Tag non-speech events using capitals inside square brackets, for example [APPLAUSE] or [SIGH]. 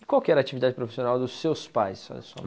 E qual que era a atividade profissional dos seus pais? [UNINTELLIGIBLE]